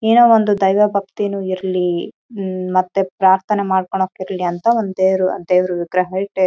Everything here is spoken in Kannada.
ಏನೋ ಒಂದು ದೈವ ಭಕ್ತಿನೂ ಇರ್ಲಿ ಹ್ಮ್ ಮತ್ತೆ ಪ್ರಾರ್ಥನೆ ಮಾಡ್ಕೊಂಡು ಹೋಗ್ತಿರ್ಲಿ ಅಂತ ಒಂದು ದೇವರು ದೇವರ ವಿಗ್ರಹ ಇಟ್ಟಿ--